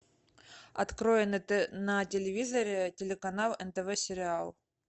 открой на телевизоре телеканал нтв сериал